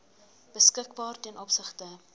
beskikbaar ten opsigte